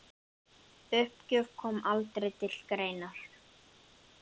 Uppgjöf kom aldrei til greina.